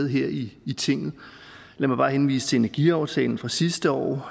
her i i tinget lad mig bare henvise til energiaftalen fra sidste år